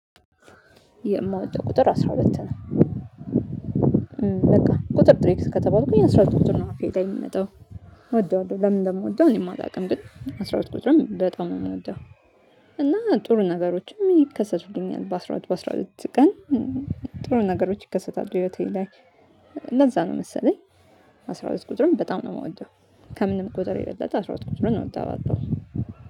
የማወጣው ቁጥር አስራ ሁለት ነው። ቁጥር ቁጥ ር ቁ ነው በቃ ቁጥር ጥሪ ከተባሉኩኝ ግን የነሱ ቁጥር ነው አፌ ላይ የሚመጣው እወደዋለሁ። ለምን እንደምወደው እኔ የማላውቅም ግን አስራ ሁለት ቁጥርም በጣም ነው የምወደው። እና ጥሩ ነገሮችም ይከሰቱልኛል በአስራ ሁለት በአስራ ሁለት ቀን። ጥሩ ነገሮች ይከሰታሉ ህይወቴ ላይ። ለዛ ነው መሰለኝ። አስራ ሁለት ቁጥርም በጣም ነው የምወደው። ከምንም ቁጥር የበለጠ አስራ ሁለት ቁጥርን ነው እወደዋለሁ።